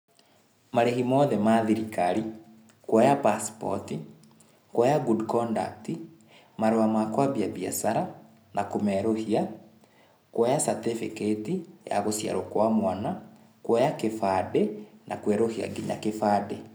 Marĩhi mothe ma thirikari, kwoya passport, kwoya good conduct, marũa ma kwambia biacara na kũmerũhia, kwoya certificate ya gũciarwo kwa mwana, kwoya kĩbandĩ, na kwerũhia nginya kĩbandĩ